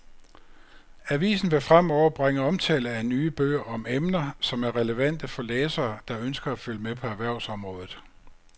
Avisen vil fremover bringe omtale af nye bøger om emner, som er relevante for læsere, der ønsker at følge med på erhvervsområdet.